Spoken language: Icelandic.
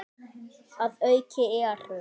Að auki eru